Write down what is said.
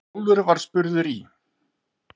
Hrólfur var spurður í